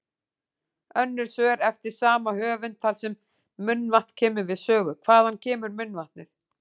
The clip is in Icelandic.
Önnur svör eftir sama höfund þar sem munnvatn kemur við sögu: Hvaðan kemur munnvatnið?